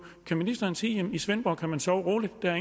kan ministeren sige at i svendborg kan man sove roligt der er